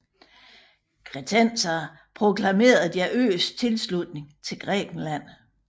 Kretenserne proklamerede deres øs tilslutning til Grækenland